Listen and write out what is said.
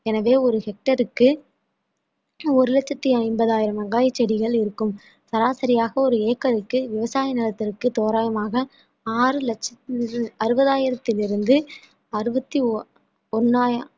எனவே ஒரு hectare க்கு ஒரு லட்சத்தி ஐம்பதாயிரம் வெங்காய செடிகள் இருக்கும் சராசரியாக ஒரு ஏக்கருக்கு விவசாய நிலத்திற்கு தோராயமாக ஆறு லட்சத்தி அறுபதாயிரத்தில் இருந்து அறுபத்தி ஓ~ ஒன்ணாயி~